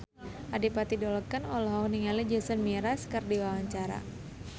Adipati Dolken olohok ningali Jason Mraz keur diwawancara